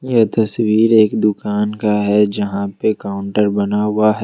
यह तस्वीर एक दुकान का है जहां पे काउंटर बना हुआ है।